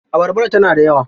Abarbar tana da yawa?